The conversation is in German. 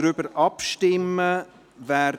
Wir stimmen ab.